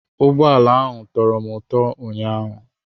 Ụgbọ ala ahụ tọrọ m ụtọ ụnyaahụ.